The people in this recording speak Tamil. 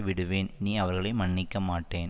விடுவேன் இனி அவர்களை மன்னிக்க மாட்டேன்